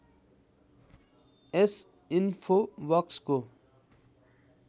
यस इन्फोबक्सको